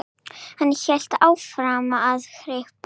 Hann hélt áfram að hripa